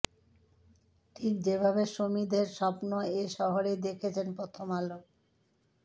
ঠিক যেভাবে সমিধের স্বপ্ন এ শহরেই দেখেছে প্রথম আলো